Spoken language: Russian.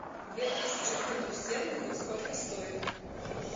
две тысячи фунтов стерлингов сколько стоит